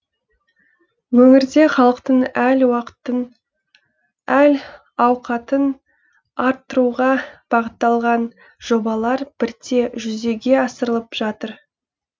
өңірде халықтың әл уақытын әл ауқатын арттыруға бағытталған жобалар бірте жүзеге асырылып жатыр